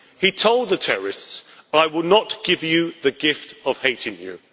He told the terrorists I will not give you the gift of hating you.'